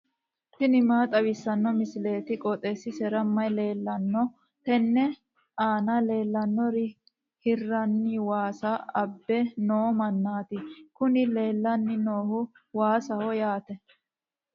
tini maa xawissanno misileeti? qooxeessisera may leellanno? tenne aana leellannori hirranni waasa abbe noo mannaati kuni leellanni noohu waasaho yaate.